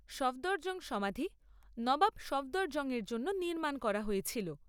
সফদরজং সমাধি নবাব সফদরজং এর জন্য নির্মাণ করা হয়েছিল।